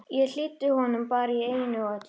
Ég hlýddi honum bara í einu og öllu.